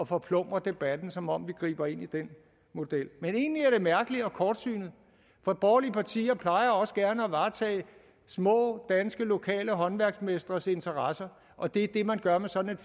forplumre debatten som om vi griber ind i den model men egentlig er det mærkeligt og kortsynet for borgerlige partier plejer også gerne at varetage små danske lokale håndværksmestres interesser og det er det man gør med sådan